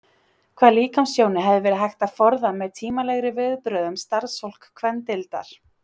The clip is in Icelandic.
Hvaða líkamstjóni hefði verið hægt að forða með tímanlegri viðbrögðum starfsfólks kvennadeildar?